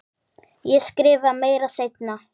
Ég skrifa meira seinna.